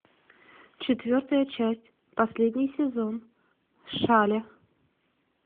четвертая часть последний сезон шале